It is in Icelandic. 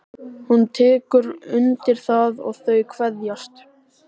Hún tekur undir það og þau kveðjast.